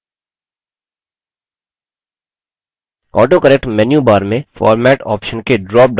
autocorrect menu bar में format option के drop down arrow में मिलता है